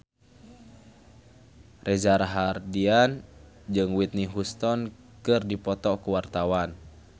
Reza Rahardian jeung Whitney Houston keur dipoto ku wartawan